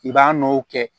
I b'a nɔw kɛ